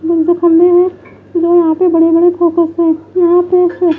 उनके खंबे हैं जो यहाँ पे बड़े बड़े फोकस है यहाँ पे --